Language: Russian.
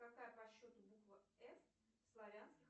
какая по счету буква ф в славянских